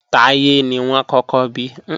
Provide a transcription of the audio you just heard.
Táyé ni wọ́n kọ́kọ́ bí